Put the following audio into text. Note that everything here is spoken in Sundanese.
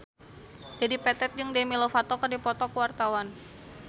Dedi Petet jeung Demi Lovato keur dipoto ku wartawan